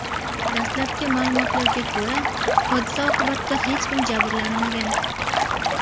Dastlabki ma’lumotlarga ko‘ra, hodisa oqibatida hech kim jabrlanmagan.